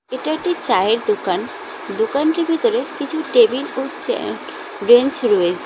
এটা একটি চায়ের দোকান। দোকানটির ভিতরে কিছু টেবিল ও চেয়ার বেঞ্চ রয়েছে।